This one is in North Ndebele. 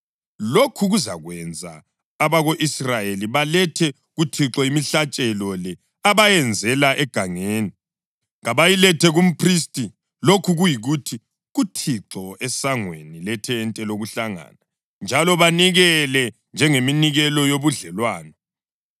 Lokhu kuzakwenza abako-Israyeli balethe kuThixo imihlatshelo le abayenzela egangeni. Kabayilethe kumphristi, lokhu kuyikuthi, kuThixo, esangweni lethente lokuhlangana njalo banikele njengeminikelo yobudlelwano.